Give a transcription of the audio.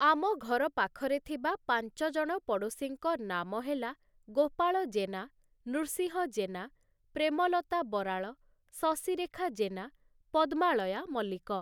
ଆମ ଘର ପାଖରେ ଥିବା ପାଞ୍ଚଜଣ ପଡ଼ୋଶୀଙ୍କ ନାମ ହେଲା ଗୋପାଳ ଜେନା, ନୃସିଂହ ଜେନା, ପ୍ରେମଲତା ବରାଳ, ଶଶିରେଖା ଜେନା, ପଦ୍ମାଳୟା ମଲ୍ଲିକ ।